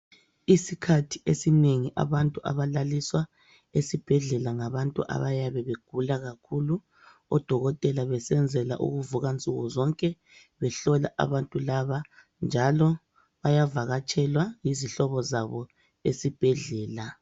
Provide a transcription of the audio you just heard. Isikhathi esinengi abantu abalaliswa esibhedlela ngabantu abayabe begula kakhulu odokotela besenzela ukuvuka nsuku zonke behlola abantu laba njalo bayavakatshelwa yizihlobo zabo esibhedlela.